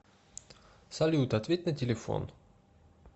салют ответь на телефон